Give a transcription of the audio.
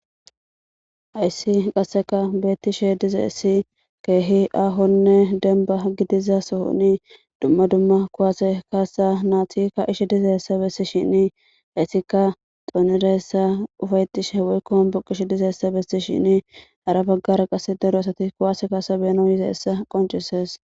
Hayssi qasseka beettishe dizeessi keehi aahonne denba gidiza sohoni dumma dumma kuwase kaasa naati kaaishe dizeessa bessishin naatika xoonidaessa ufaytishe waykko hombuqish dizeessa bessishini hara baggara qas daro asati kuwaase kaasa beno yizeessa qoncises.